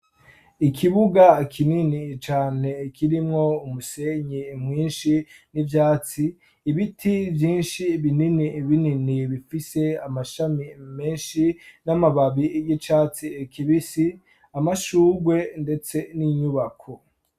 Ikibuga kinini cane kirimwo umusenyi mwinshi n'ivyatsi, ibiti vyinshi binini binini bifise amashami menshi n'amababi y'icatsi kibisi, amashugwe ndetse n'inyubako.